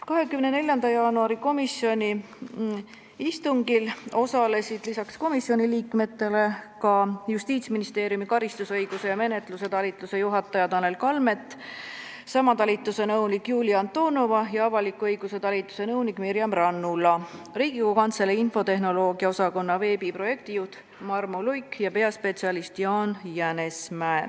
24. jaanuari istungil osalesid lisaks komisjoni liikmetele Justiitsministeeriumi karistusõiguse ja menetluse talituse juhataja Tanel Kalmet, sama talituse nõunik Julia Antonova ja avaliku õiguse talituse nõunik Mirjam Rannula, Riigikogu Kantselei infotehnoloogia osakonna veebiprojektijuht Marmo Luik ja peaspetsialist Jaan Jänesmäe.